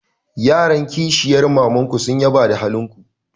Yaran kishiyar maman ku sun yaba da halin ku.